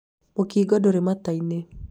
mũkingo ndũrĩ mata inĩ